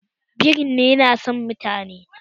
Birin yana son mutane